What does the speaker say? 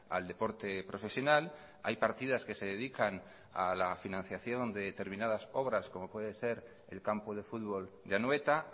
al deporte profesional hay partidas que se dedican a la financiación de determinadas obras como puede ser el campo de futbol de anoeta